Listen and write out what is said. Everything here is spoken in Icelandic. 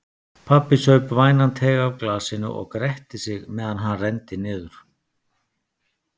Pabbi saup vænan teyg af glasinu og gretti sig meðan hann renndi niður.